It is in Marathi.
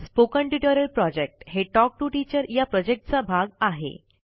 स्पोकन ट्युटोरियल प्रॉजेक्ट हे टॉक टू टीचर या प्रॉजेक्टचा भाग आहे